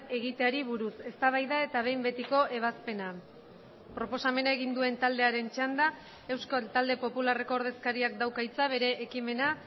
egiteari buruz eztabaida eta behin betiko ebazpena proposamena egin duen taldearen txanda euskal talde popularreko ordezkariak dauka hitza bere ekimena